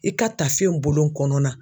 I ka taafe in bolo kɔnɔna